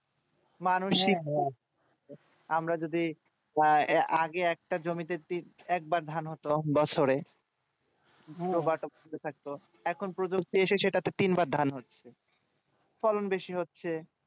আমরা যদি আহ আগে একটা জমিতে একবার ধান হতো বছরে এখন বছরে তিন বা ধান হচ্ছে ফলন বেশি হচ্ছে